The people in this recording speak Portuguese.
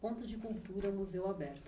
Ponto de Cultura, Museu Aberto.